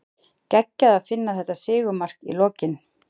Geggjað að Finna þetta sigurmark í lokin!